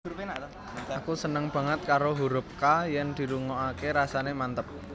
Aku seneng banget karo hurup K yen dirungokake rasane manteb